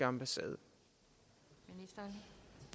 om sagen det